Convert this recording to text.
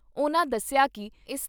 ਉਨ੍ਹਾਂ ਦੱਸਿਆ ਕਿ ਇਸ